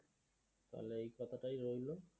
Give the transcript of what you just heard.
তাহলে এই কথাটাই রইলো